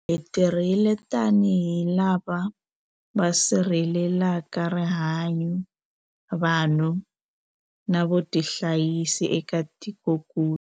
Hi tirhile tanihi lava va sirhelelaka rihanyu, vanhu na vutihanyisi eka tikokulu.